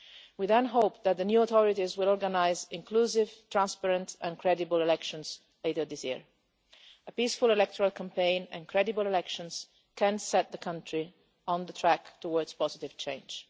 We then hope that the new authorities will organise inclusive, transparent and credible elections later this year. A peaceful electoral campaign and credible elections can set the country on track towards positive change.